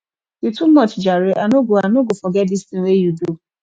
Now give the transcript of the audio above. you too much jare i no go i no go forget dis tin wey you do